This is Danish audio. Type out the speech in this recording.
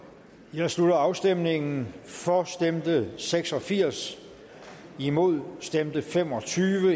jeg slutter afstemningen for stemte seks og firs imod stemte fem og tyve